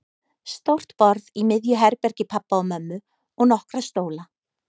Stórt borð í miðju herbergi pabba og mömmu og nokkra stóla.